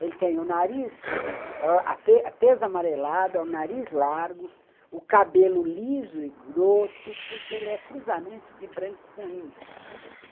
Ele tem o nariz atês amarelado, o nariz largo, o cabelo liso e grosso, porque ele é cruzamento de branco com índio.